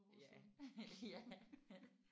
Ja ja